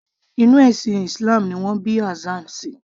Inú ẹ̀sìn islam ni wọn bí Hassan sí